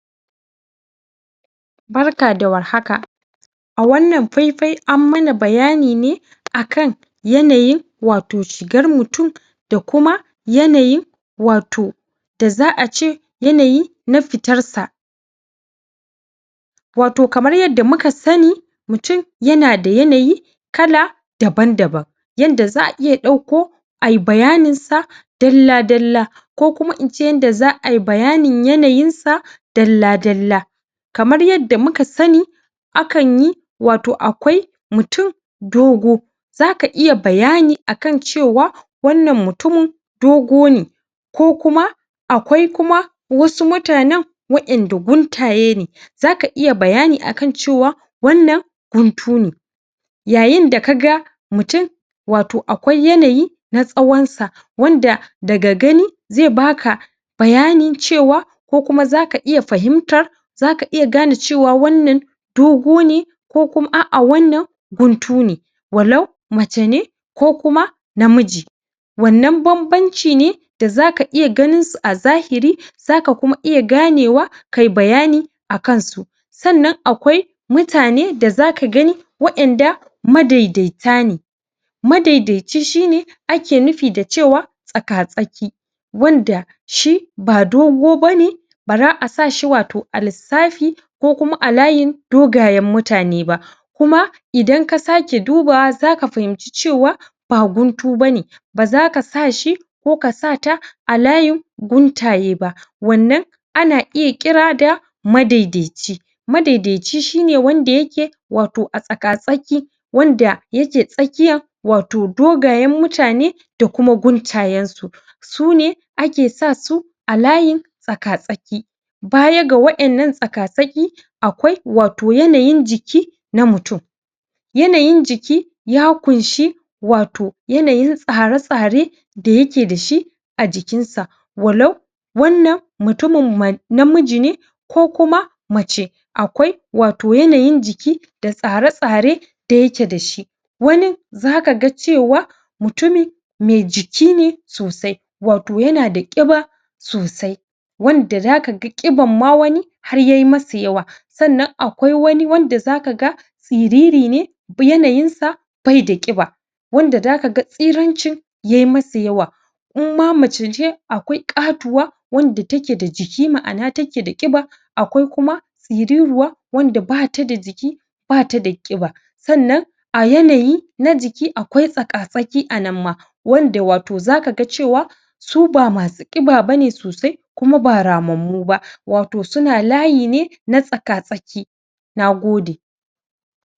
Barka da warhaka! a wannan faifai an mana bayani ne akan yanayin wato shigar mutum da kuma yanayin wato da za'a ce yanayi na fitar sa wato kamar yanda muka sanni mutum yana da yanayi kala daban-daban yanda za'a iya ɗauko ai bayanin sa dalla-dalla ko kuma ince yanda za ai bayanin yanayin sa dalla-dalla kamar yanda muka sanni akanyi wato akwai mutum dogo zaka iya bayani akan cewa wannan mutumin dogo ne ko kuma akwai kuma wasu mutanen wa'inda guntaye ne zaka iya bayani akan cewa wannan guntu ne yayin da kaga mutum wato akwai yanayi na tsawan sa wanda daga gani zai baka bayanin cewa ko kuma zaka iya fahimtar zaka iya gane cewa wannan dogo ne ko kuma a'a wannan guntu ne walau mace ne ko kuma namiji wannan banbanci ne da zaka iya ganin su a zahiri zaka kuma iya ganewa kai bayani akan su sannan akwai mutane da zaka gani wa'inda ma daidaita ne madaidaici shi ne ake nufi da cewa tsaka-tsaki wanda shi ba dogo bane bara a sashi wato a lis.. safi ko kuma a layin dogayen mutane ba kuma idan ka sake dubawa zaka fahimci cewa ba guntu bane ba zaka sa shi ko ka sa ta a layin guntaye ba wannan ana iya ƙira da madaidaici madaidaici shi ne wanda yake wato a tsaka-tsaki wanda, yake tsakiyan wato dogayen mutane da kuma guntayen su sune ake sa su a layin tsaka-tsaki baya ga wa'innan tsaka-tsaki akwai wato yanayin jiki na mutum yanayin jiki ya kunshi wato yanayin tsara-tsare da yake dashi a jikinsa walau wannan mutumin ma.. namiji ne ko kuma mace akwai wato yanayin jiki da tsara-tsare da yake dashi wanin zaka ga cewa mutumi mai jiki ne sosai wato yana da ƙiba sosai wanda zaka ga ƙiban ma wani har ye masa yawa sannan akwai wani wanda zaka ga siriri ne yanayin sa bai da ƙiba wanda da kaga tsirancin ye masa yawa in ma mace ce akwai ƙatuwa wanda take da jiki ma'ana take da ƙiba akwai kuma tsiriruwa wanda bata da jiki bata da ƙiba sannan a yanayi na jiki akwai tsa-tsaki a nan ma wanda wato zaka ga cewa su ba masu ƙiba bane sosai kuma ba ramammu ba wato suna layi ne na tsaka-tsaki Nagode!